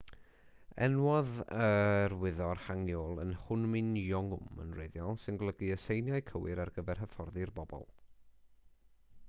enwodd e'r wyddor hangeul yn hunmin jeongeum yn wreiddiol sy'n golygu y seiniau cywir ar gyfer hyfforddi'r bobl